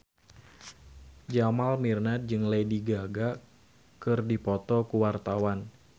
Jamal Mirdad jeung Lady Gaga keur dipoto ku wartawan